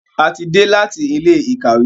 A tí dé láti Ilé-ìkàwé.